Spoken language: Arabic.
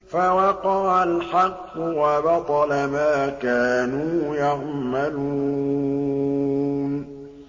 فَوَقَعَ الْحَقُّ وَبَطَلَ مَا كَانُوا يَعْمَلُونَ